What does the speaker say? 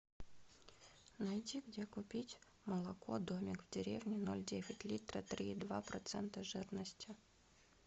найти где купить молоко домик в деревне ноль девять литра три и два процента жирности